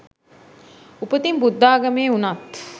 උපතින් බුද්ධාගමේ උණත්